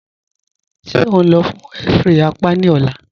Ṣe o nlọ́ fun x-ray àpá ni ọ̀là?